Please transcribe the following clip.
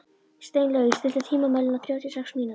Steinlaug, stilltu tímamælinn á þrjátíu og sex mínútur.